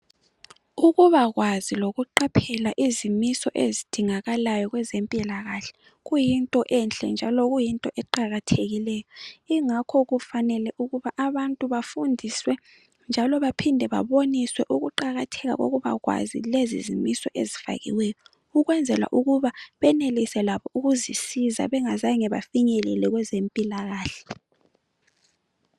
Ukuba kwazi. lokuqapheka izimiso ezidingakalayo, kwezempilakahle. Kuyinto enhle njalo kuyinto eqakathekileyo. Ingakho kufanele ukuba abantu bafundiswe, njalo baphinde baboniswe ukuqakatheka kokuba kwazi, lezizimiso ezifakiweyo. Ukwenzela ukuba benelise labo ukuzisiza bengazange bafinyelele kwezempilakahle.